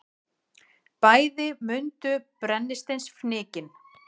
Bæði mundu brennisteinsfnykinn.